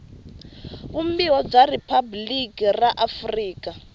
vumbiwa bya riphabliki ra afrika